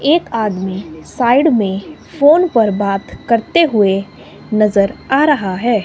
एक आदमी साइड में फोन पर बात करते हुए नजर आ रहा है।